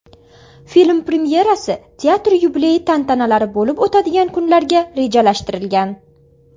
Film premyerasi teatr yubileyi tantanalari bo‘lib o‘tadigan kunlarga rejalashtirilgan.